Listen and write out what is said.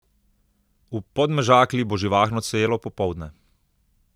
V Podmežakli bo živahno celo popoldne.